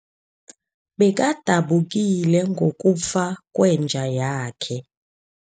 Bekadabukile ngokufa kwenja yakhe.